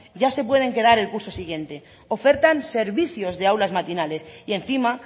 ya se pueden quedar el curso siguiente ofertan servicios de aulas matinales y encima